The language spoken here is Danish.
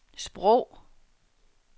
sprog